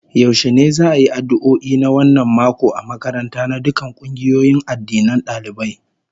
Yaushe ne za'a yi addu'o'i na wannan mako a makaranta na dukkan kungiyoyin addinan dalibai?